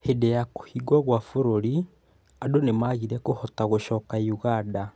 Hĩndĩ ya kũhingwo kwa bũrũri, andũ nĩ maagire kũhota gũcoka Uganda.